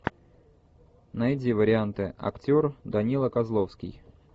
найди варианты актер данила козловский